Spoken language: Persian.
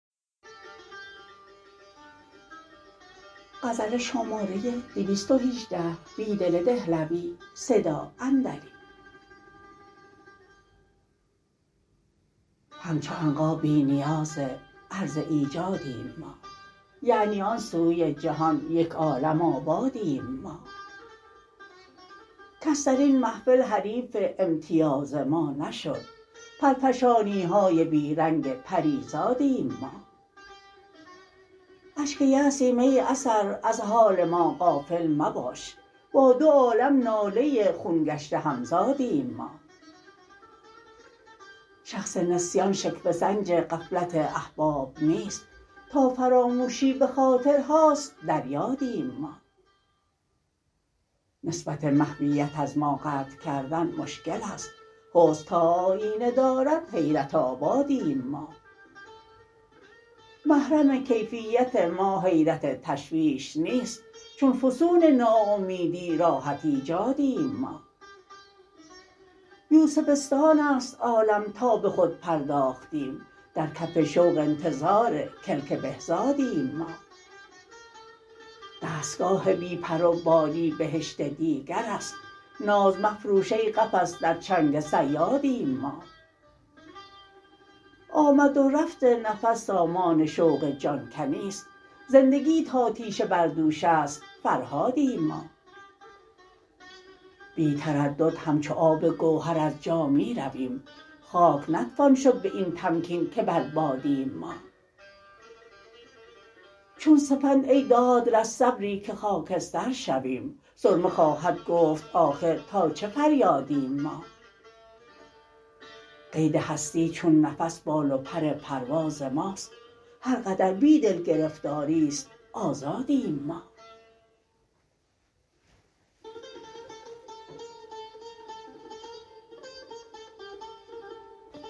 همچو عنقا بی نیاز عرض ایجادیم ما یعنی آن سوی جهان یک عالم آبادیم ما کس درین محفل حریف امتیاز ما نشد پرفشانیهای بی رنگ پریزادیم ما اشک یأسیم ای اثر از حال ما غافل مباش با دو عالم ناله خون گشته همزادیم ما شخص نسیان شکوه سنج غفلت احباب نیست تا فراموشی به خاطرهاست در یادیم ما نسبت محویت از ما قطع کردن مشکل است حسن تا آیینه دارد حیرت آبادیم ما محرم کیفیت ما حیرت تشویش نیست چون فسون ناامیدی راحت ایجادیم ما یوسفستان است عالم تا به خود پرداختیم درکف شوق انتظارکلک بهزادیم ما دستگاه بی پر و بالی بهشت دیگر است نازمفروش ای قفس درچنگ صیادیم ما آمد و رفت نفس سامان شوق جان کنی ست زندگی تا تیشه بر دوش است فرهادیم ما بی تردد همچو آب گوهر ز جا می رویم خاک نتوان شد به این تمکین که بر بادیم ما چون سپندای دادرس صبری که خاکسترشویم سرمه خواهدگفت آخرتا چه فریادیم ما قیدهستی چون نفس بال وپر پرواز ماست هرقدر بیدل گرفتاری ست آزادیم ما